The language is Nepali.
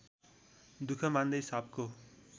दुःख मान्दै सापको